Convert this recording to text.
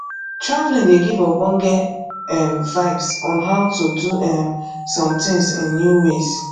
travelling dey give ogbonge um vibes on how to do um some things in new ways